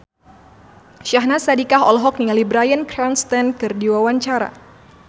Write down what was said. Syahnaz Sadiqah olohok ningali Bryan Cranston keur diwawancara